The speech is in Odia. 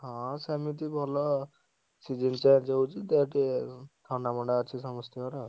ହଁ ସେମିତି ଭଲ season change ହଉଛି ଦେହ ଟିକେ, ଥଣ୍ଡା ମଣ୍ଡା ଅଛି ସମସ୍ତଙ୍କର।